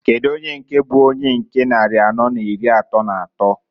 Kedu ony bu onye nke nnari anọọ na iri atọọ n'atọọ?